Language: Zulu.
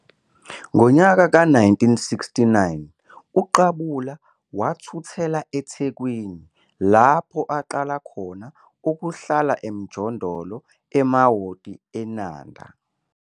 Ngo-1969 uQabula wathuthela eThekwini, lapho aqala khona ukuhlala emjondolo e-Amaouti eNanda.